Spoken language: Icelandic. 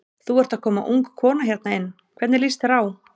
Þú ert að koma ung kona hérna inn, hvernig líst þér á?